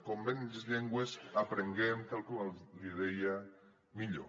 com més llengües aprenguem tal com li deia millor